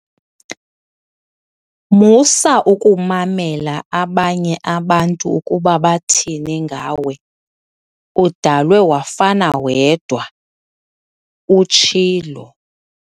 Musa ukumamela abanye abantu ukuba bathini ngawe, udalwe wafana wedwa," utshilo.